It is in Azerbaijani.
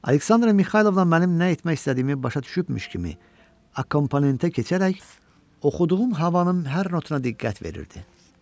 Aleksandra Mixaylovna mənim nə etmək istədiyimi başa düşübmüş kimi, akkompanimentə keçərək oxuduğum havanın hər notuna diqqət verirdi.